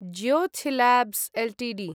Jyothy labs Ltd